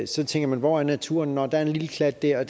så tænker man hvor er naturen nå der er en lille klat der